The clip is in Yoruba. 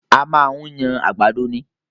A máa ń yan àgbàdo ni